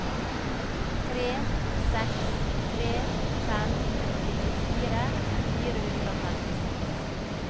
tre seks tre fem nittifire fire hundre og femtiseks